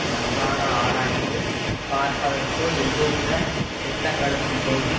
நன்றாக ஆராய்ந்து பார்ப்பதற்கோ எதுவித திட்டங்களுமில்லை